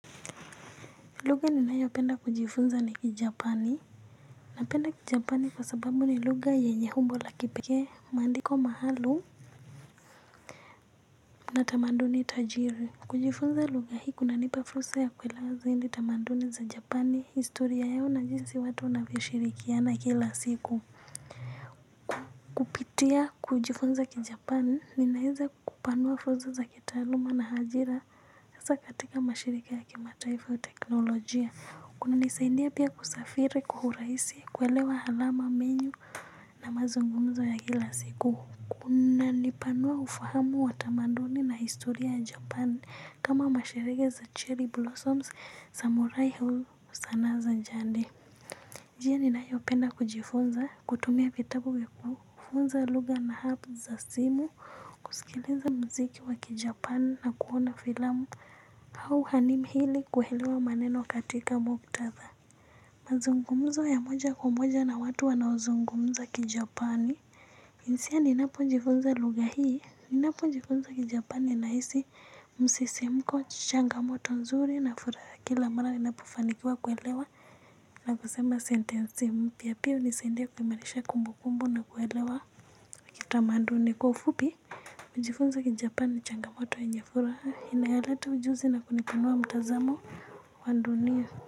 Lugha ninayo penda kujifunza ni kijapani napenda kijapani kwa sababu ni lugha yenye umbo la kipekee maandiko maalum na tamaduni tajiri kujifunza lugha hii kuna nipa fursa ya kuelewa zaidi tamaduni za japani historia yao na jinsi watu wanavyoshirikiana kila siku kupitia kujifunza kijapani ninaweza kupanua fursa za kitaaluma na ajira hasa katika mashirika ya kimataifa teknolojia. Kuna nisaidia pia kusafiri kwa urahisi kuelewa alama menyu na mazungumzo ya kila siku. Kuna nipanua ufahamu wa tamaduni na historia ya japani kama mashirige za cherry blossoms samurai au sanaa za jadi. Njia ninayo penda kujifunza kutumia vitabu vya kufunza lugha na app za simu kusikiliza muziki wa kijapani na kuona filamu au hanim ili kuelewa maneno katika muktatha. Mazungumzo ya moja kwa moja na watu wanaozungumza kijapani hisia ninapo jifunza lugha hii ninapojifunza kijapani nahisi msisimko changamoto nzuri na furaha kila mara ninapofanikiwa kuelewa na kusema sentensi mpya pia hunisaidia kuimarisha kumbukumbu na kuelewa kitamaduni kwa ufupi kujifunza kijapani ni changamoto yenye furaha inayoleta ujuzi na kunipanua mtazamo wa dunia.